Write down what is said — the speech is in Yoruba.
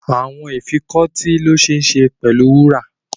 Earrings can be made of gold